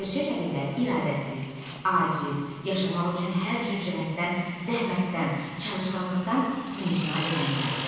Gerçək əlillər iradəsiz, aciz, yaşamaq üçün hər cür cəhətdən zəhmətdən, çalışqanlıqdan imtina edənlərdir.